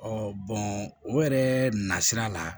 o yɛrɛ nasira la